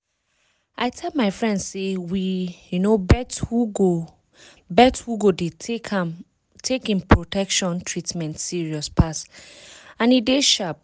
i tell my friends say make we um bet who go bet who go dey take em protection treatment serious pass and e dey sharp